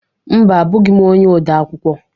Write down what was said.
Mba, abughi m ọnye ọde akwụkwọ